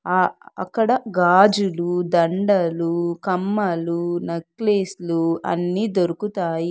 ఆ-అక్కడ గాజులు దండలు కమ్మలు నక్లీస్లు అన్నీ దొరుకుతాయి.